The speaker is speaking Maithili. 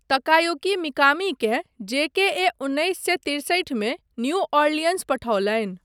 तकायुकी मिकामीकेँ जेकेए उन्नैस सए तिरसठि मे न्यू ऑरलियंस पठौलनि।